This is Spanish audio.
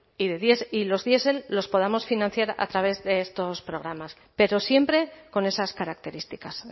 y los diesel los podamos financiar a través de estos programas pero siempre con esas características